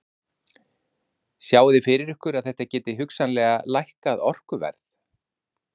Hjörtur Hjartarson: Sjáið þið fyrir ykkur að þetta gæti hugsanlega lækkað orkuverð?